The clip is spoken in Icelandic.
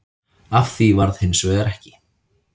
Af því varð hins vegar ekki